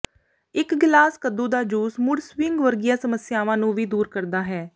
ਇੱਕ ਗਿਲਾਸ ਕੱਦੂ ਦਾ ਜੂਸ ਮੂਡ ਸਿਵਿੰਗ ਵਰਗੀਆਂ ਸਮੱਸਿਆਵਾਂ ਨੂੰ ਵੀ ਦੂਰ ਕਰਦਾ ਹੈ